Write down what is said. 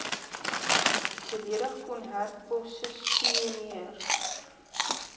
volledig kon herposisioneer